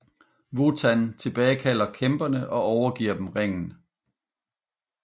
Wotan tilbagekalder kæmperne og overgiver dem ringen